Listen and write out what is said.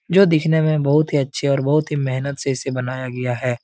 जो दिखने में बहुत ही अच्छे और बहुत ही मेहनत से इसे बनाया गया है।